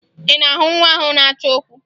Ị na-ahụ nwa ahụ na-achọ okwu?